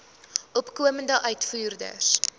opkomende uitvoerders